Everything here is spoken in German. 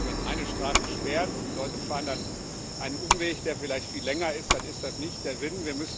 Wenn man eine Straße sperrt und die Leute fahren dann einen Umweg, der vielleicht viel länger ist, dann ist das nicht der Sinn.